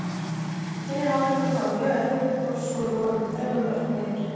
Fyrri hálfleikurinn var mjög erfiður þó svo við vorum þremur mörkum yfir.